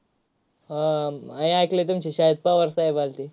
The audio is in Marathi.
हा एकलय तुमच्या शाळेत पवार साहेब आलते.